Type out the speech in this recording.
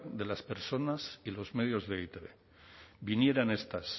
de las personas y los medios de e i te be vinieran estas